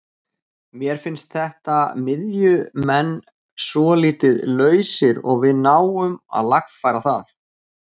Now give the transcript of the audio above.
Mér fannst þeirra miðjumenn svolítið lausir og við náðum að lagfæra það.